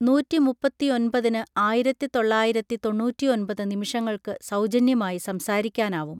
നൂറ്റിമുപ്പത്തിയൊൻപതിന് ആയിരത്തി തൊള്ളായിരത്തി തൊണ്ണൂറ്റിയൊൻപത് നിമിഷങ്ങൾക്ക് സൗജന്യമായി സംസാരിക്കാനാവും